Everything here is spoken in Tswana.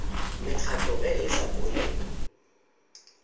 mekgatlho e e sa boneng